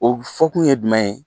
O fɔkun ye jumɛn ye